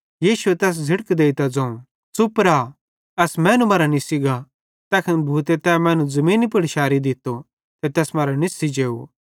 यीशुए तैस झ़िड़क देइतां ज़ोवं च़ुप रा एस मैनू मरां निस्सी गा तैखन भूते तै मैनू ज़मीनी पुड़ शैरी दित्तो ते तैस मरां निस्सी जेव